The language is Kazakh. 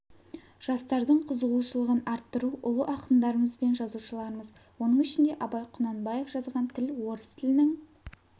жастардың қызығушылығын арттыру ұлы ақындарымыз бен жазушыларымыз оның ішінде абай құнанбаев жазған тіл орыс тілінің